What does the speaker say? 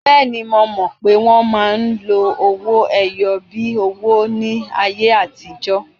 Bẹ́ẹ̀ni, mo mọ̀ pé wọ́n máa ń lo owó-ẹyọ bíi owó ní ayé àtijọ́.